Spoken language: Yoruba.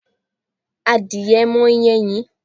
Adìye máa ń yé ẹyin.